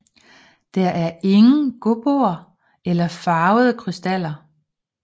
Der er ingen Gobboer eller farvede krystaller